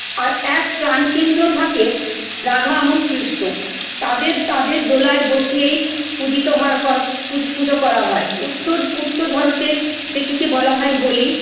আর এক ত্রান কেন্দ্র থাকে রাধা এবং কৃষ্ণ তাদের তাদের দোলায় বসিয়েই পুজিত হয় করা পুজ পুজো করা হয় উত্তর উত্তর ভারতের যেটিকে বলা হয় হোলি